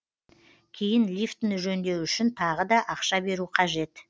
кейін лифтіні жөндеу үшін тағы да ақша беру қажет